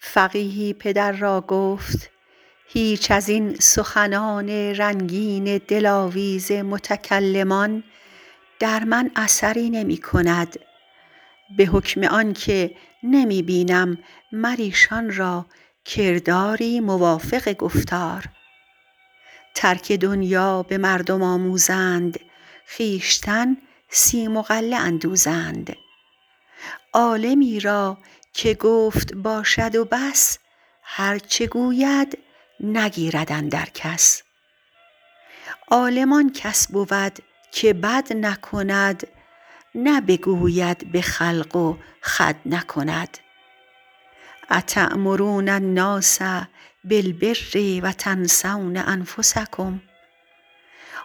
فقیهی پدر را گفت هیچ از این سخنان رنگین دلاویز متکلمان در من اثر نمی کند به حکم آن که نمی بینم مر ایشان را فعلی موافق گفتار ترک دنیا به مردم آموزند خویشتن سیم و غله اندوزند عالمی را که گفت باشد و بس هر چه گوید نگیرد اندر کس عالم آن کس بود که بد نکند نه بگوید به خلق و خود نکند اتأمرون الناس بالبر و تنسون انفسکم